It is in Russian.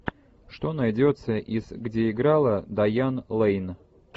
что найдется из где играла дайан лейн